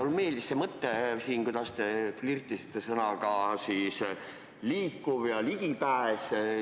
Mulle meeldis see, kuidas te siin flirtisite sõnadega "liikuvus" ja "ligipääs".